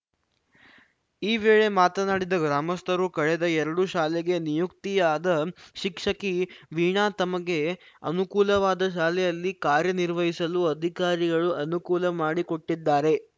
ಈ ವೇಳೆ ಮಾತನಾಡಿದ ಗ್ರಾಮಸ್ಥರು ಕಳೆದ ಎರಡು ಶಾಲೆಗೆ ನಿಯುಕ್ತಿಯಾದ ಶಿಕ್ಷಕಿ ವೀಣಾ ತಮಗೆ ಅನುಕೂಲವಾದ ಶಾಲೆಯಲ್ಲಿ ಕಾರ್ಯನಿರ್ವಹಿಸಲು ಅಧಿಕಾರಿಗಳು ಅನುಕೂಲ ಮಾಡಿಕೊಟ್ಟಿದ್ದಾರೆ